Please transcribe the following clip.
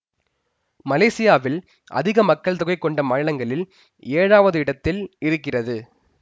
மலேசியாவில் அதிக மக்கள் தொகை கொண்ட மாநிலங்களில் ஏழாவது இடத்தில் இருக்கிறது